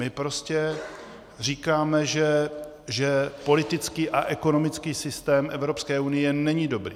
My prostě říkáme, že politický a ekonomický systém Evropské unie není dobrý.